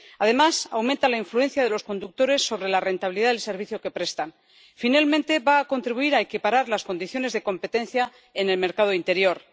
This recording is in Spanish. Además, aumenta la influencia de los conductores sobre la rentabilidad del servicio que prestan. Por último, va a contribuir a equiparar las condiciones de competencia en el mercado interior.